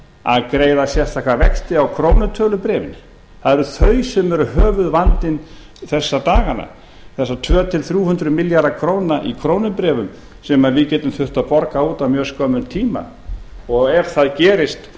að greiða sérstaka vexti á krónutölu bréfin það eru þau sem eru höfuðvandinn þessa dagana þessir tvö til nú hundruð milljarðar króna í krónubréfum sem við getum þurft að borga út á mjög skömmum tíma og ef það gerist